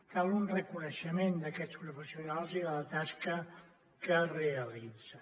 cal un reconeixement d’aquests professionals i de la tasca que realitzen